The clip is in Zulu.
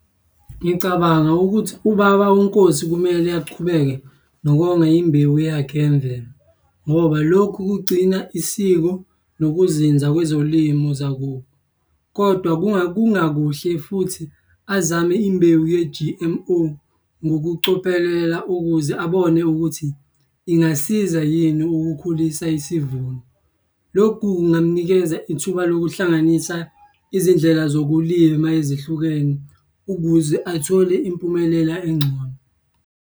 Ngicabanga ukuthi ubaba uNkosi kumele achubeke nokonga imbewu yakhe yemvelo, ngoba lokhu kugcina isiko nokuzinza kwezolimo zakubo, kodwa kungakuhle futhi azame imbewu ye-G_M_O ngokucophelela, ukuze abone ukuthi ingasiza yini ukukhulisa isivuno. Lokhu kungamunikeza ithuba lokuhlanganisa izindlela zokulima ezihlukene ukuze athole impumelela engcono.